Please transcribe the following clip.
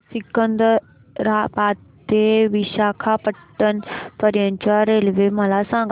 सिकंदराबाद ते विशाखापट्टणम पर्यंत च्या रेल्वे मला सांगा